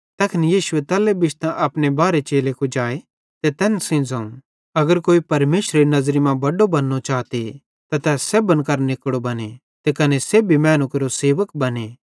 तैखन यीशुए तल्ले बिश्तां अपने बारहे चेले कुजाए ते तैन सेइं ज़ोवं अगर कोई परमेशरेरी नज़री मां बड्डो बन्नू चाते त तै सेब्भन केरां निकड़ो बने ते कने सेब्भी मैनू केरो सेवक बने